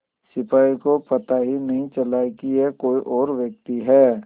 सिपाही को पता ही नहीं चला कि यह कोई और व्यक्ति है